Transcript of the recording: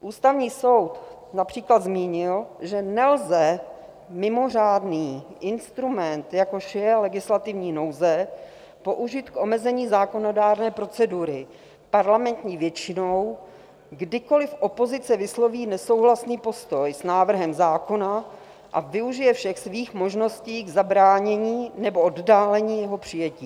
Ústavní soud například zmínil, že nelze mimořádný instrument, jako je legislativní nouze, použít k omezení zákonodárné procedury parlamentní většinou, kdykoli opozice vysloví nesouhlasný postoj s návrhem zákona a využije všech svých možností k zabránění nebo oddálení jeho přijetí.